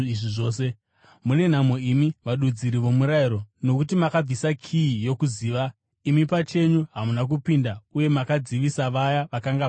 “Mune nhamo imi, vadudziri vomurayiro, nokuti makabvisa kiyi yokuziva. Imi pachenyu hamuna kupinda, uye makadzivisa vaya vakanga vachipinda.”